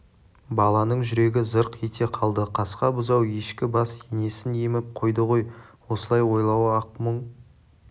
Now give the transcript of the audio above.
баланың жүрегі зырқ ете қалды қасқа бұзау ешкі бас енесін еміп қойды ғой осылай ойлауы-ақ мұң